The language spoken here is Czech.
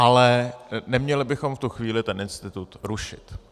Ale neměli bychom v tu chvíli ten institut rušit.